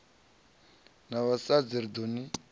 na vhasadzi ri ḓo ni